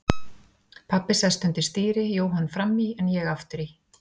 Pabbi sest undir stýri, Jóhann fram í en ég aftur í.